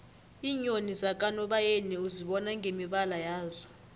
iinyoni zakanobayeni uzibona ngemibala yazo